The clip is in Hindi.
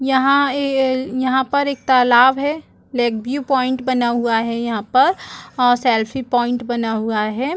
यहाँ ए ए यहाँ पर एक तालाब है लेक व्यू पॉइंट बना हुआ है यहाँ पर सेल्फी पॉइंट बना हुआ है।